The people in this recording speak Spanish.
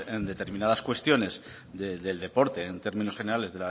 en determinadas cuestiones del deporte en términos generales